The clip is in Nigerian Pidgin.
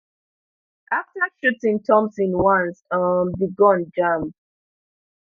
after shooting thompson once um di gun jam